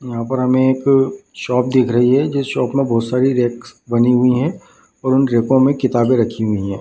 यहाँ पर हमें एक शॉप दिख रही है जिस शॉप में बहुत सारी रैक्स बनी हुई है और उन रैको में किताबे रखी हुई है ।